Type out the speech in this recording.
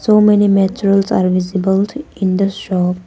So many materials are visible in the shop.